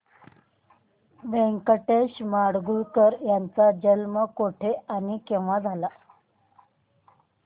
व्यंकटेश माडगूळकर यांचा जन्म कुठे आणि केव्हा झाला